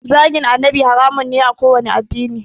Zagin annabi haramun ne a kowanne addini